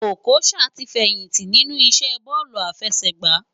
Okocha ti fèyinti ninú isé bòlú áfèsègbá